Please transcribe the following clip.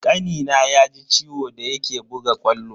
Kanina ya ji ciwo da yake buga ƙwallo.